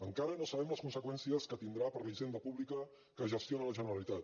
encara no sabem les conseqüències que tindrà per a la hisenda pública que gestiona la generalitat